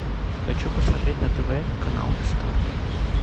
хочу посмотреть на тв канал стар